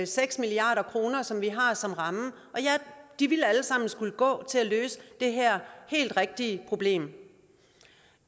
seks milliard kr som vi har som ramme og de ville alle sammen skulle gå til at løse det her helt rigtige problem